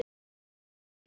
Hvað vantar?